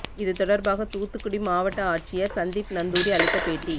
இது தொடர்பாக தூத்துக்குடி மாவட்ட ஆட்சியர் சந்தீப் நந்தூரி அளித்த பேட்டி